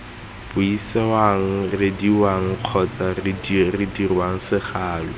buisiwang reediwang kgotsa dirwang segalo